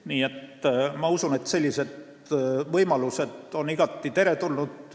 Nii et ma usun, et sellised võimalused on igati teretulnud.